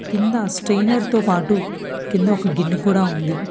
కింద స్ట్రైనర్ తో పాటు కింద ఒక గిన్నె కూడా ఉంది.